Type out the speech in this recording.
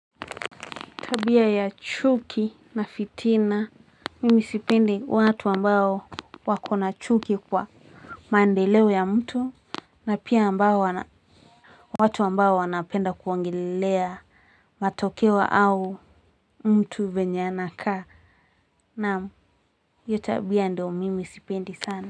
Tabia ya chuki na fitina mimi sipendi watu ambao wakona chuki kwa mandelewo ya mtu na pia ambao wana watu ambao wanapenda kuongelelea matokewo au mtu venya anaka Namu iyotabia ndio mimi sipendi sana.